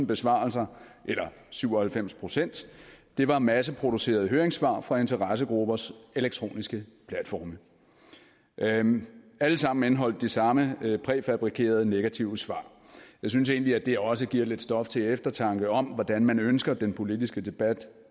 besvarelser eller syv og halvfems procent var masseproducerede høringssvar fra interessegruppers elektroniske platforme alle sammen indeholdt de samme præfabrikerede negative svar jeg synes egentlig at det også giver lidt stof til eftertanke om hvordan man ønsker den politiske debat